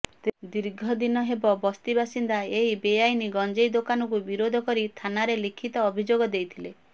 ଦୀର୍ଘଦିନ ହେବ ବସ୍ତିବାସିନ୍ଦା ଏହି ବେଆଇନ ଗଞ୍ଜେଇ ଦୋକାନକୁ ବିରୋଧ କରି ଥାନାରେ ଲିଖିତ ଅଭିଯୋଗ ଦେଇଥିଲେ